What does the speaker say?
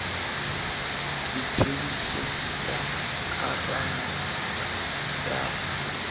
ka tsebiso ya koranta ya